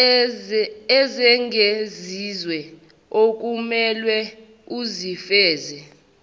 ezengeziwe okumelwe uzifeze